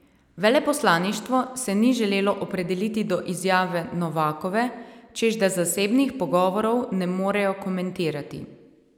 Veleposlaništvo se ni želelo opredeliti do izjave Novakove, češ da zasebnih pogovorov ne morejo komentirati.